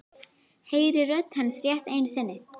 Heyri rödd hans rétt einu sinni.